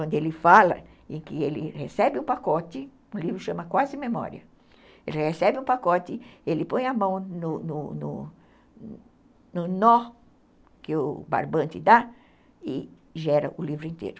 onde ele fala em que ele recebe o pacote, o livro chama Quase Memória, ele recebe o pacote, ele põe a mão no no no nó que o barbante dá e gera o livro inteiro.